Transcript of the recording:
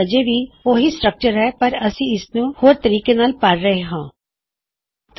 ਫੇਰ ਵੀ ਉਹ ਸੇਮ ਸਟਰੱਕਚਰ ਹੀ ਸ਼ਾਮਲ ਕਰੇਗਾ ਪਰ ਅਸੀਂ ਇਸਨੂੰ ਹੋਰ ਤਰੀਕੇ ਨਾਲ ਨਿਰਦੇਸ਼ ਕਰਾਂਗੇ